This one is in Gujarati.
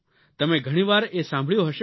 તમે ઘણી વાર એ સાંભળ્યું હશે કે